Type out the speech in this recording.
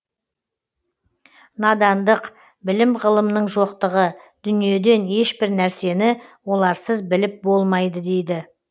надандық білім ғылымның жоқтығы дүниеден ешбір нәрсені оларсыз біліп болмайды дейді